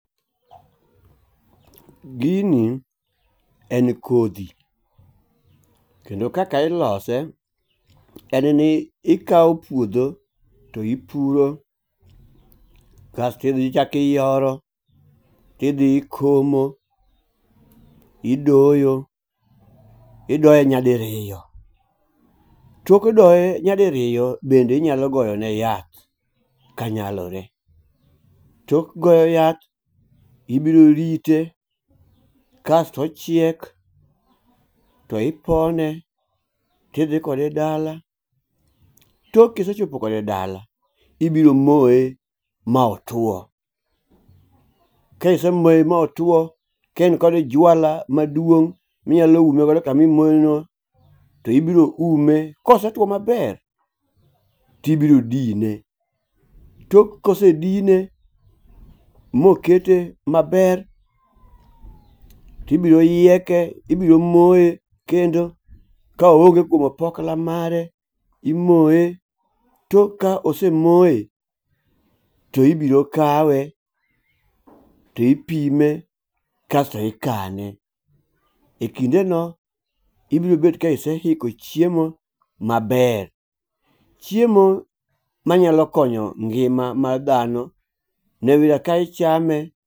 Gini en kodhi, kendo kaka ilose en ni ikawo puodho to ipuro kasto idhi iyoro idhi ikomo, idoyo idoye nyadiriyo. Tok doye nyadiriyo bende inyalo goyo ne yath kanyalore . Tok goyo yath ibiro rite kasto ochiek to ipone kidhi kode dala. Tok kisechopo kode dala tibiro moye ma otwo . Ka isemoye ma otwo kaen kod jwala maduong minyalo ume godo kama omoye no to ibiro ume kosetwo maber tibro dine. Tok kosedine mokete maber, tibiro yieke, ibiro moye kendo ka oonge kuom opokla mare imoye tok. Ka osemoye to ibiro kawe to ipime kasto ikane . E kinde no ibiro bet ka iseiko chiemo maber . Chiemo manyalo konyo ngima mar dhano ng'e kaka ichame